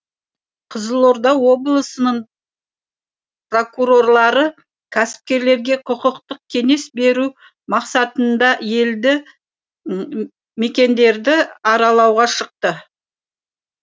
қызылорда облысының прокурорлары кәсіпкерлерге құқықтық кеңес беру мақсатында елді мекендерді аралауға шықты